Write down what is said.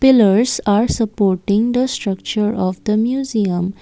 pillers are supporting the structure of the museum.